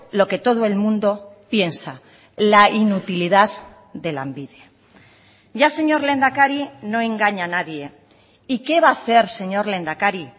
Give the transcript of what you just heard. lo que todo el mundo piensa la inutilidad de lanbide ya señor lehendakari no engaña a nadie y qué va a hacer señor lehendakari